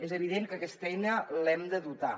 és evident que aquesta eina l’hem de dotar